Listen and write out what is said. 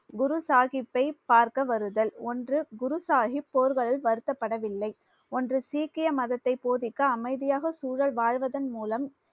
குரு சாஹிப்பை பார்க்க வருதல் ஒன்று குரு சாஹிப் போர்கள் வருத்தப்படவில்லை ஒன்று சீக்கிய மதத்தை போதிக்க அமைதியாக சூழ வாழ்வதன்மூலம்